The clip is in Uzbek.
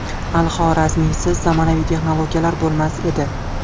Al-Xorazmiysiz zamonaviy texnologiyalar bo‘lmas edi.